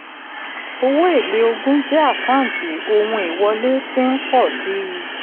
owó èlé ogún jẹ́ àkáǹtí ohun ìwọlé tí ń pọ̀ sí.